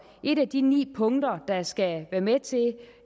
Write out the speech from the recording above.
et af de ni punkter der skal være med til